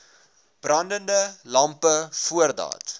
brandende lampe voordat